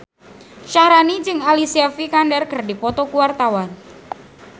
Syaharani jeung Alicia Vikander keur dipoto ku wartawan